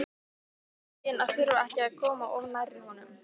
Fegin að þurfa ekki að koma of nærri honum.